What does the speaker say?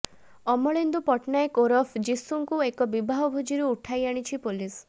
ଅମଳେନ୍ଦୁ ପଟ୍ଟନାୟକ ଓରଫ୍ ଯୀଶୁଙ୍କୁ ଏକ ବିବାହ ଭୋଜିରୁ ଉଠାଇ ଆଣିଛି ପୋଲିସ